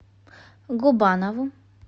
губанову